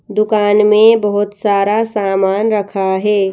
दुकान में बहोत सारा सामान रखा हे ।